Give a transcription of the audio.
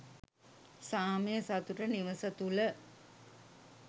සාමය සතුට නිවස තුළ